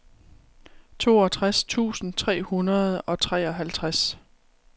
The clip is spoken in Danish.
toogtres tusind tre hundrede og treoghalvtreds